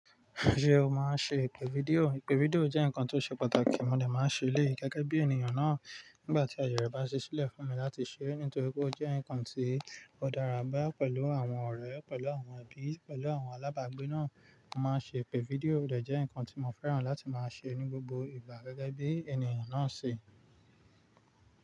Ṣé o máa ń ṣe ìpè fídíò? Ìpè fídíò jẹ́ nǹkan tó ṣe pàtàkì, mo dẹ́ máa ń ṣe èléyìí gẹ́gẹ́ bí ènìyàn náà nígbà tí àyè rẹ̀ bá ṣẹ́ sílẹ̀ fún mi láti ṣe, nítorí pé ó jẹ́ ǹkan tí ó dára bá pẹ̀lú àwọn ọ̀rẹ́, pẹ̀lú àwọn ẹbí, pẹ̀lú àwọn alábàágbé náà. Mo máa ń ṣe ìpè fídíò, ó dà jẹ́ ǹkan tí mo fẹ́ràn láti máa ṣe ní gbogbo ìgbà gẹ́gẹ́ bí ènìyàn náà ṣe.